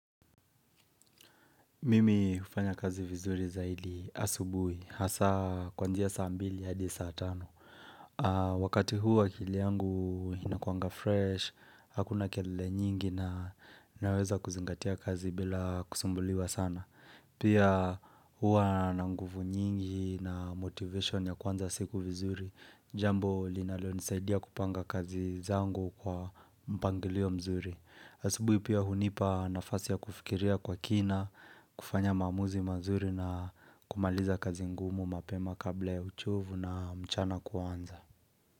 Mimi hufanya kazi vizuri zaidi asubuhi, hasa kwanzia saa mbili hadi saa tano. Wakati huo akili yangu inakuanga fresh, hakuna kelele nyingi na naweza kuzingatia kazi bila kusumbuliwa sana. Pia huwa na nguvu nyingi na motivation ya kuanza siku vizuri, jambo linalonisaidia kupanga kazi zangu kwa mpangilio mzuri. Asubuhi pia hunipa nafasi ya kufikiria kwa kina, kufanya maamuzi mazuri na kumaliza kazi ngumu mapema kabla ya uchovu na mchana kuanza.